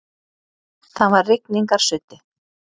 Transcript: Það var rigningarsuddi.